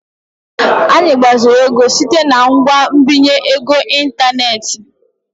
Anyị gbaziri ego site na ngwa nbinye ego n'ịntanetị.